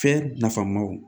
Fɛn nafamaw